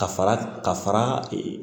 Ka fara ka fara ee